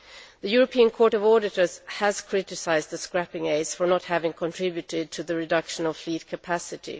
The European Court of Auditors has criticised the scrapping aid for not having contributed to the reduction of fleet capacity.